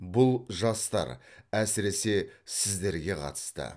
бұл жастар әсіресе сіздерге қатысты